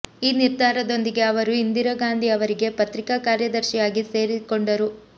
ಈ ನಿರ್ಧಾರದೊಂದಿಗೆ ಅವರು ಇಂದಿರಾ ಗಾಂಧಿ ಅವರಿಗೆ ಪತ್ರಿಿಕಾ ಕಾರ್ಯದರ್ಶಿಯಾಗಿ ಸೇರಿಕೊಂಡರು